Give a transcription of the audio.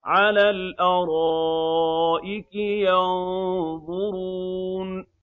عَلَى الْأَرَائِكِ يَنظُرُونَ